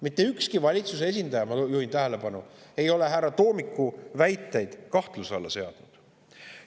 Mitte ükski valitsuse esindaja, ma juhin tähelepanu, ei ole härra Toomiku väiteid kahtluse alla seadnud.